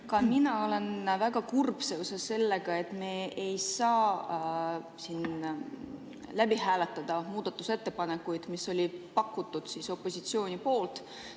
Ka mina olen väga kurb seoses sellega, et me ei saa siin läbi hääletada muudatusettepanekuid, mis olid pakutud opositsiooni poolt.